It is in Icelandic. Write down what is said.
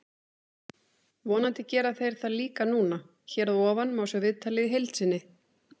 Vonandi gera þeir það líka núna. Hér að ofan má sjá viðtalið í heild sinni.